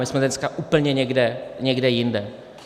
My jsme dneska úplně někde jinde.